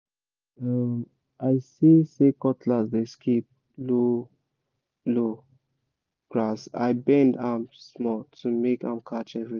as um i see say cutlass dey skip low-low grass i bend am small to make am catch everything